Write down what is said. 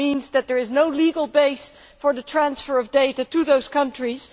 That means that there is no legal basis for the transfer of data to those countries.